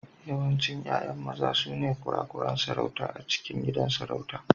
Yawancin 'ya'ya maza sune kurakuran sarauta a cikin gidan sarauta.